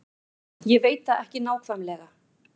Ég veit það ekki nákvæmlega.